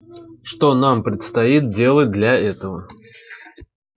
что нам предстоит делать для этого